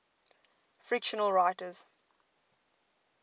fictional writers